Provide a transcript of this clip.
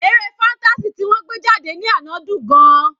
Eré fantasy ti wọ́n gbé jáde ní àná dùn-ún gan-an.